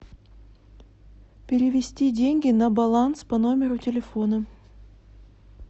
перевести деньги на баланс по номеру телефона